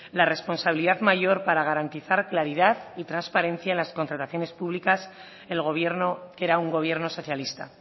la responsabilidad mayor para garantizar claridad y transparencia en las contrataciones públicas el gobierno que era un gobierno socialista